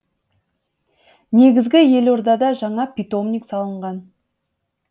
негізі елордада жаңа питомник салынған